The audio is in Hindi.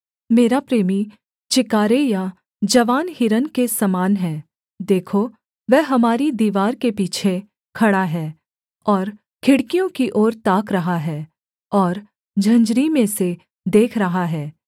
मेरा प्रेमी चिकारे या जवान हिरन के समान है देखो वह हमारी दीवार के पीछे खड़ा है और खिड़कियों की ओर ताक रहा है और झंझरी में से देख रहा है